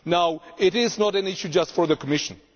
Now this is not an issue just for the Commission.